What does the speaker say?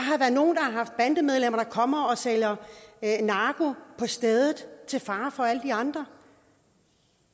kommer og sælger narko på stedet til fare for alle de andre